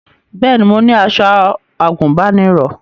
Bẹ́ẹ̀ni mo ní aṣọ àgùnbánirọ̀